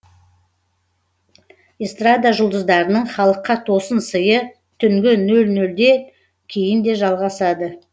эстрада жұлдыздарының халыққа тосын сыйы түнгі нөл нөлде кейін де жалғасады